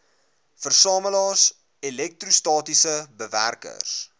versamelaars elektrostatiese bewerkers